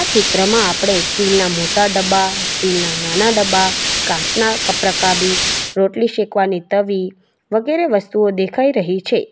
ચિત્રમાં આપણે સ્ટીલ ના મોટા ડબ્બા સ્ટીલ ના નાના ડબ્બા કાચના કપ રકાબી રોટલી શેકવાની તવી વગેરે વસ્તુઓ દેખાઈ રહી છે.